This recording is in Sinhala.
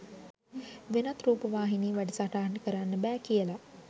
වෙනත් රූපවාහිනී වැඩසටහන් කරන්න බැහැ කියලා.